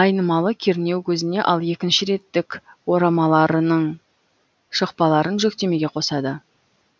айнымалы кернеу көзіне ал екінші реттік орамаларының шықпаларын жүктемеге қосады